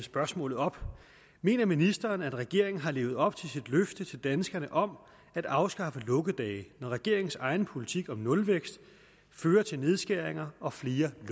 spørgsmålet op mener ministeren at regeringen har levet op til sit løfte til danskerne om at afskaffe lukkedage når regeringens egen politik om nulvækst fører til nedskæringer og flere